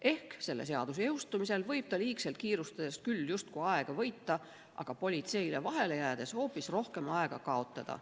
Ehk selle seaduse jõustumise korral võib ta liigselt kiirustades küll justkui aega võita, aga politseile vahele jäädes hoopis rohkem aega kaotada.